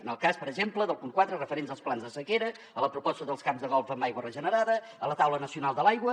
en el cas per exemple del punt quatre referent als plans de sequera a la proposta dels camps de golf amb aigua regenerada a la taula nacional de l’aigua